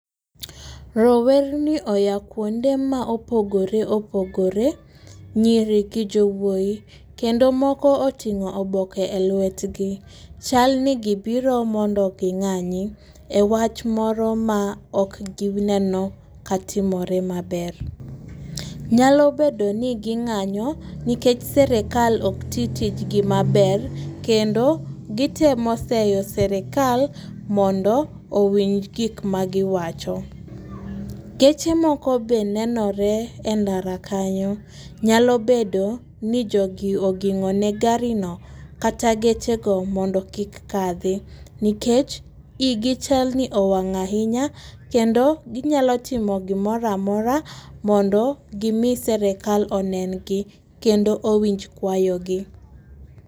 Rowerni oya kuonde ma opogore opogore, nyiri gi jowuoyi kendo moko oting'o oboke e lwetgi, chalni gibiro mondo ging'anyi e wach moro ma ok gine katimore maber. Nyalo bedo ni ginga'nyo nikech sirikal ok titijgi maber kendo gitemo seyo sirikal mondo owinj gik magiwacho. Geche moko be nenore e ndara kanyo nyalo bedo ni jogi ogingone garino kata gechego mondo kik kathi nikech igi chalni owang' ahinya kendo ginyalo timo gimoro amora mondo gimi serikal onen gi kendo owinj kwayogi